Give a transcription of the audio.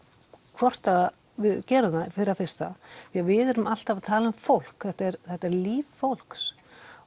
hvort að við gerum það fyrir það fyrsta því að við erum alltaf að tala um fólk þetta er þetta er líf fólks